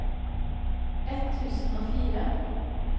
ett tusen og fire